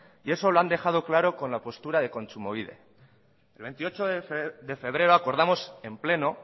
y eso lo han dejado claro con la postura de kontsumobide el veintiocho de febrero acordamos en pleno